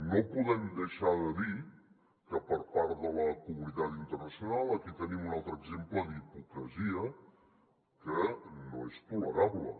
no podem deixar de dir que per part de la comunitat internacional aquí tenim un altre exemple d’hipocresia que no és tolerable